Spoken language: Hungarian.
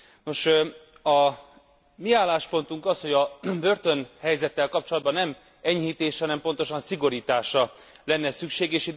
Nos, a mi álláspontunk az, hogy a börtönhelyzettel kapcsolatban nem enyhítésre, hanem pontosan szigorításra lenne szükség.